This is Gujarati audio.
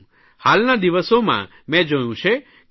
હાલના દિવસોમાં મેં જોયું છે કેટલીક ટી